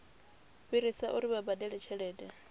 fhirisa uri vha badele tshelede